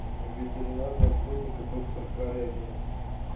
ветеринарная клиника доктора корягина